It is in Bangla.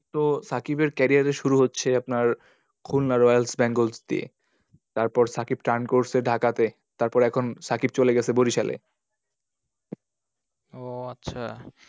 তো সাকিবের carrier এর শুরু হচ্ছে আপনার খুলনা রয়েল বেঙ্গল দিয়ে। তারপর সাকিব turn করসে ঢাকা তে। তারপর সাকিব চলে গেছে এখন বরিশালে। ও আচ্ছা।